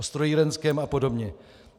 O strojírenském a podobně.